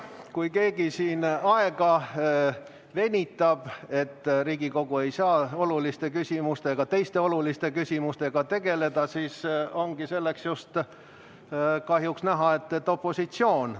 Kui keegi siin venitab, nii et Riigikogu ei saa teiste oluliste küsimustega tegeleda, siis ongi kahjuks näha, et see on just opositsioon.